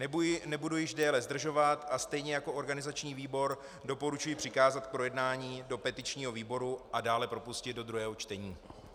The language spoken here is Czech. Nebudu již déle zdržovat a stejně jako organizační výbor doporučuji přikázat k projednání do petičního výboru a dále propustit do druhého čtení.